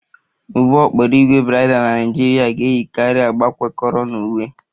Ụgbọ okporo ígwè bridal na Nigeria ga-eyikarị agba kwekọrọ na uwe